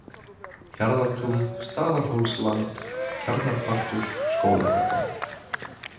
Hjarðartún, Staðarhólslamd, Tjarnarpartur, Skólagata